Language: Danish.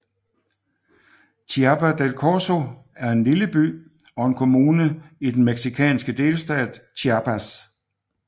Chiapa de Corzo er en lille by og en kommune i den mexicanske delstat Chiapas